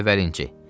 Əvvəlinci.